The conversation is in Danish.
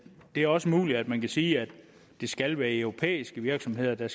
er også muligt at man kan sige at det skal være europæiske virksomheder der